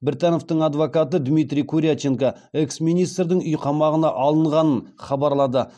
біртановтың адвокаты дмитрий куряченко экс министрдің үй қамағына алынғанын хабарлады